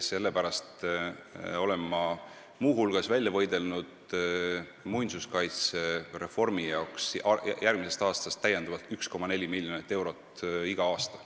Sellepärast olen ma muu hulgas välja võidelnud muinsuskaitsereformi jaoks järgmisest aastast 1,4 miljonit lisaeurot igal aastal.